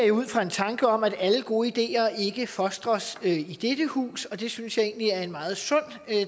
jo ud fra en tanke om at alle gode ideer ikke fostres i dette hus og det synes jeg egentlig er en meget sund